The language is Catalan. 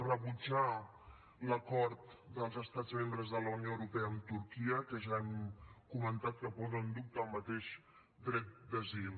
rebutjar l’acord dels estats membres de la unió europea amb turquia que ja hem comentat que posa en dubte el mateix dret d’asil